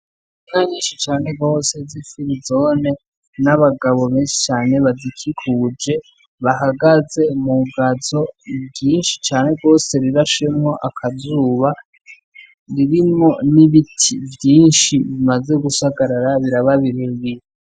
Inka nyinshi cane gose z'ifirizone n'abagabo benshi cane bazikikuje, bahagaze mu gazo ryinshi cane gose, rirashemwo akazuba, ririmwo n'ibiti vyinshi bimaze gusagarara biraba birebire.